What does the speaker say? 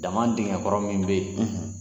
Dma denkɛk ɔrɔ min bɛ yen